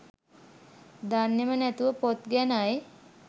දන්නෙම නැතුව පොත් ගැනයි